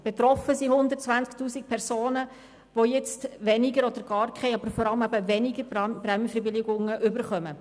Betroffen sind 120 000 Personen, die nun gar keine oder vor allem weniger Prämienverbilligungen erhalten.